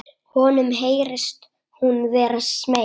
Honum heyrist hún vera smeyk.